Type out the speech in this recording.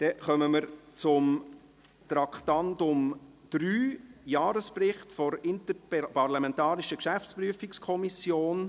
Wir kommen zum Traktandum 3, dem Jahresbericht 2018 der Interparlamentarischen Geschäftsprüfungskommission.